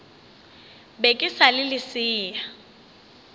be ke sa le lesea